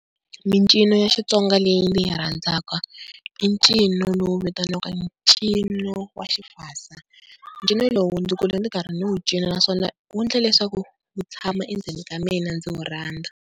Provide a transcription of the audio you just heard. Mincino ya Xitsonga leyi ndzi yi rhandzaka i ncino lowu vitaniwaka ncino wa xifase, ncino lowu ndzi kule ndzi karhi ndzi wu cina naswona wu endla leswaku wu tshama endzeni ka mina ndzi wu rhandza.